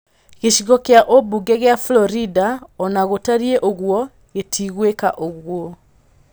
Gĩcigo kĩa ũmbunge gĩa Florida onagũtarie ũguo gĩtigwĩka ũguo